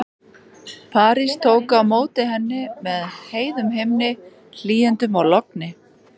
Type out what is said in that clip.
París tók á móti henni með heiðum himni, hlýindum og logni.